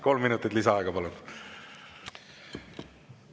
Kolm minutit lisaaega, palun!